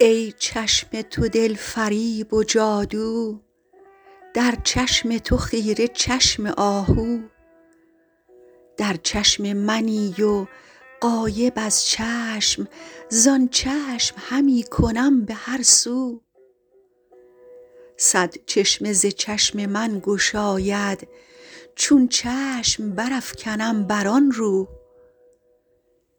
ای چشم تو دل فریب و جادو در چشم تو خیره چشم آهو در چشم منی و غایب از چشم زآن چشم همی کنم به هر سو صد چشمه ز چشم من گشاید چون چشم برافکنم بر آن رو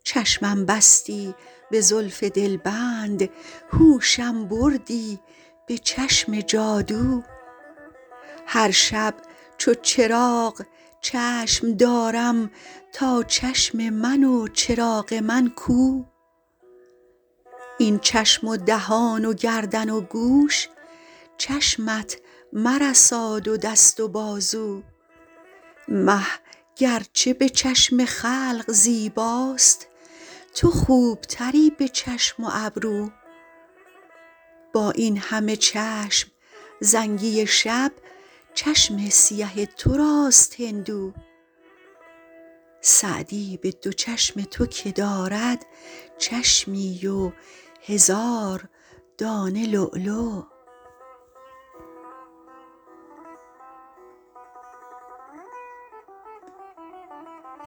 چشمم بستی به زلف دلبند هوشم بردی به چشم جادو هر شب چو چراغ چشم دارم تا چشم من و چراغ من کو این چشم و دهان و گردن و گوش چشمت مرساد و دست و بازو مه گر چه به چشم خلق زیباست تو خوب تری به چشم و ابرو با این همه چشم زنگی شب چشم سیه تو راست هندو سعدی به دو چشم تو که دارد چشمی و هزار دانه لولو